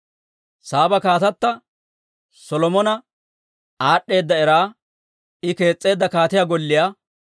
Saaba kaatata Solomona aad'd'eeda era, I kees's'eedda kaatiyaa golliyaa,